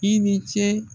I ni ce